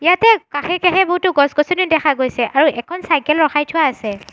ইয়াতে কাষে কাষে বহুতো গছ-গছনিও দেখা গৈছে আৰু এখন চাইকেল ৰখাই থোৱা আছে।